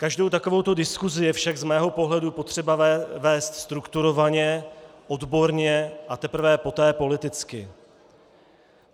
Každou takovouto diskusi je však z mého pohledu potřeba vést strukturovaně, odborně a teprve poté politicky.